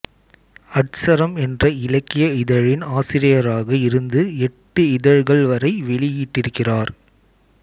அட்சரம் என்ற இலக்கிய இதழின் ஆசிரியராக இருந்து எட்டு இதழ்கள் வரை வெளியிட்டிருக்கிறார்